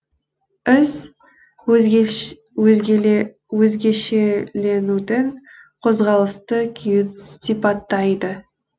із өзгешеленудің қозғалысты күйін сипаттайды